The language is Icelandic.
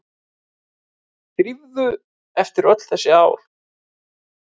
Drífu eftir öll þessi ár.